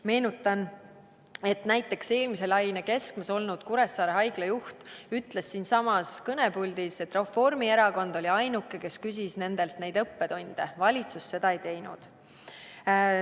Meenutan, et näiteks eelmise laine keskmes olnud Kuressaare Haigla juht ütles siinsamas kõnepuldis, et Reformierakond oli ainuke, kes küsis nendelt neid õppetunde, valitsus seda ei teinud.